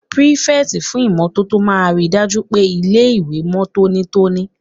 Pírífẹ̀tì fún ìmótótó máa n ríi dájú pé ilé-ìwé mọ́ tónítóní